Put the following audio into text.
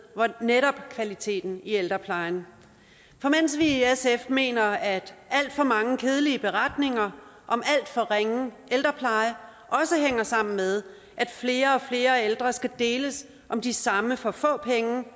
netop kvaliteten i ældreplejen for mens vi i sf mener at alt for mange kedelige beretninger om alt for ringe ældrepleje også hænger sammen med at flere og flere ældre skal deles om de samme for få penge